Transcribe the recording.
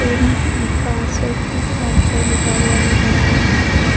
M उँ पांच सौ ठू सात सौ लिखा हुआ नजर आ रहा है।